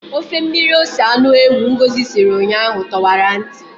Ofe mmiri ose anụ ewu Ngosi siri ụnyaahụ tọwara ntị.